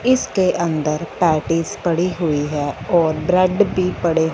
इसके अंदर पेटीज पड़ी हुई है और ब्रेड भी पड़े--